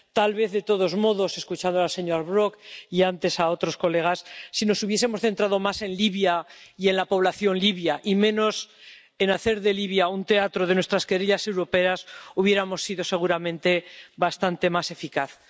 Tal vez, de todos modos, escuchando al señor Brok y antes a otros colegas, si nos hubiésemos centrado más en Libia y en la población libia y menos en hacer de Libia un teatro de nuestras querellas europeas, hubiéramos sido seguramente bastante más eficaces.